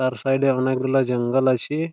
তার সাইড -এ অনেকগুলো জঙ্গল আছে-এ ।